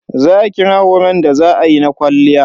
Za kije horon da za ayi na kwalliya?